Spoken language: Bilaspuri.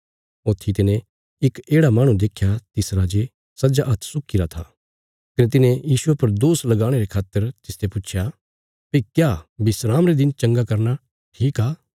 ऊथी तिने इक येढ़ा माहणु देख्या तिसरा जे सज्जा हात्थ सुकीगरा था कने तिन्हें यीशुये पर दोष लगाणे रे खातर तिसते पुच्छया भई क्या विस्राम रे दिन चंगा करना ठीक आ